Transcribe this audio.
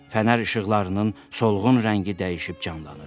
Fənər işıqlarının solğun rəngi dəyişib canlanır.